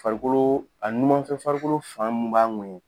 Farikolo, a n numanfɛ farikolo fan mun b'a ŋɔɲɛ